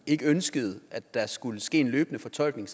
ikke ønskede at der skulle ske en løbende fortolkning